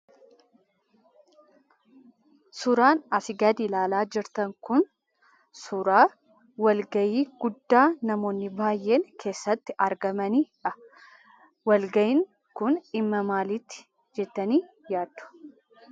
Suuraan asii gadi ilaalaa jirtan kun suuraa wal ga'ii guddaa namoonni baay'een keessatti argamanidha. Walga'iin kun dhimma maaliiti jettanii yaaddu?